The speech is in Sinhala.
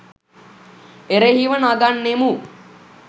එරෙහිව නගන්නෙමු.